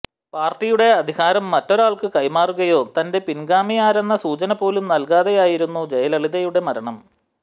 പാര്ട്ടിയുടെ അധികാരം മറ്റൊരാള്ക്ക് കൈമാറുകയോ തന്റെ പിന്ഗാമിയാരെന്ന സൂചനപോലും നല്കാതെയായിരുന്നു ജയലളിതയുടെ മരണം